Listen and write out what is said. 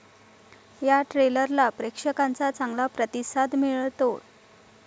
या ट्रेलरला प्रेक्षकांचा चागंला प्रतिसाद मिळतोय.